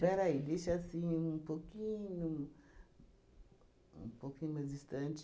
Peraí, deixa assim um pouquinho um pouquinho mais distante.